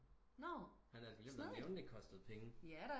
Han havde altså glemt at nævne det kostede penge